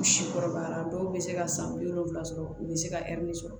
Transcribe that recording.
U si kɔrɔbayara dɔw bɛ se ka san bi wolonwula sɔrɔ u bɛ se ka sɔrɔ